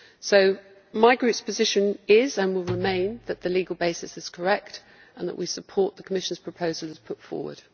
So my group's position is and will remain that the legal basis is correct and that we support the Commission's proposal as put forward.